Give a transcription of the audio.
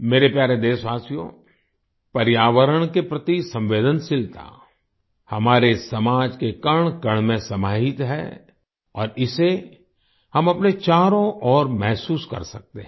मेरे प्यारे देशवासियो पर्यावरण के प्रति संवेदनशीलता हमारे समाज के कणकण में समाहित है और इसे हम अपने चारों ओर महसूस कर सकते हैं